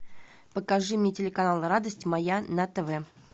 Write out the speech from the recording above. покажи мне телеканал радость моя на тв